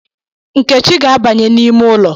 Nkechi ga-abanye n’ime ụlọ